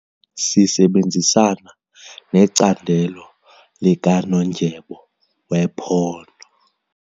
Sisebenzisana necandelo likanondyebo wephondo.